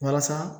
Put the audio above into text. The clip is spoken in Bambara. Walasa